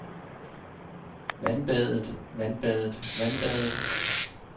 vandbadet vandbadet vandbadet